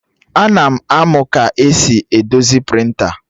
Ana m amụ ka esi edozi prịnta